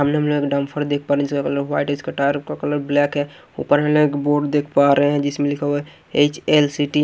सामने हमें एक डम्फर देख पा रहे हैं जिसका कलर वाइट है इसका टायर का कलर ब्लैक है ऊपर हम लोग एक बोर्ड देख पा रहे हैं जिसमें लिखा हुआ है एच_एल_सी_टी --